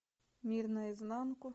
мир наизнанку